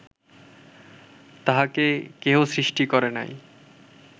তাঁহাকে কেহ সৃষ্টি করে নাই